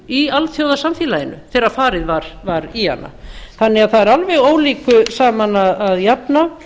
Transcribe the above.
í alþjóðasamfélaginu þegar farið var í hana þannig að það er alveg ólíku saman að jafna